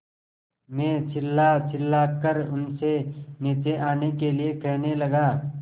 मैं चिल्लाचिल्लाकर उनसे नीचे आने के लिए कहने लगा